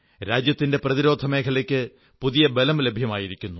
രാജ്യത്തിന്റെ പ്രതിരോധമേഖലയ്ക്ക് പുതിയ ബലം ലഭ്യമായിരിക്കുന്നു